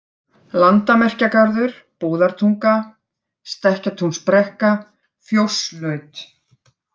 Landamerkjagarður, Búðartunga, Stekkatúnsbrekka, Fjósslaut